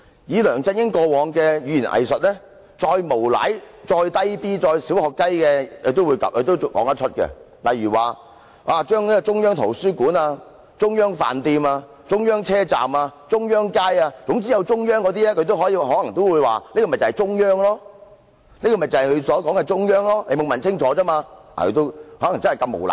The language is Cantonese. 以梁振英過往的語言"偽術"，再無賴、幼稚及"小學雞"的事情他也說得出來，例如，他可能會說，中央圖書館、中央飯店、中央車站、中央街等都有"中央"兩個字，便是他口中所說的中央，只是大家沒有問清楚，他真的夠膽那樣無賴。